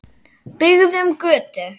Byggðum götu.